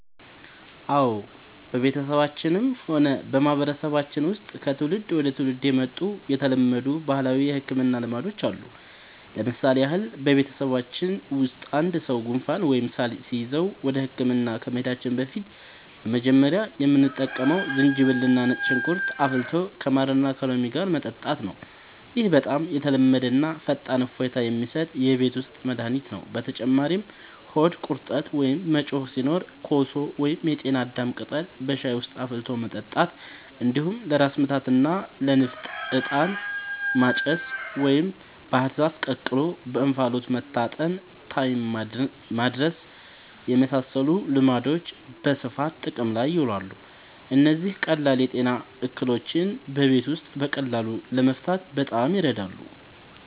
አዎ፣ በቤተሰባችንም ሆነ በማህበረሰባችን ውስጥ ከትውልድ ወደ ትውልድ የመጡ የተለመዱ ባህላዊ የሕክምና ልማዶች አሉ። ለምሳሌ ያህል፣ በቤተሰባችን ውስጥ አንድ ሰው ጉንፋን ወይም ሳል ሲይዘው ወደ ሕክምና ከመሄዳችን በፊት መጀመሪያ የምንጠቀመው ዝንጅብልና ነጭ ሽንኩርት አፍልቶ ከማርና ከሎሚ ጋር መጠጣት ነው። ይህ በጣም የተለመደና ፈጣን እፎይታ የሚሰጥ የቤት ውስጥ መድኃኒት ነው። በተጨማሪም ሆድ ቁርጠት ወይም መጮህ ሲኖር ኮሶ ወይም የጤና አዳም ቅጠል በሻይ ውስጥ አፍልቶ መጠጣት፣ እንዲሁም ለራስ ምታትና ለንፍጥ «ዕጣን ማጨስ» ወይም ባህር ዛፍ ተቀቅሎ በእንፋሎት መታጠንን (ታይም ማድረስ) የመሳሰሉ ልማዶች በስፋት ጥቅም ላይ ይውላሉ። እነዚህ ቀላል የጤና እክሎችን በቤት ውስጥ በቀላሉ ለመፍታት በጣም ይረዳሉ።